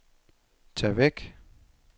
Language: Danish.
tag væk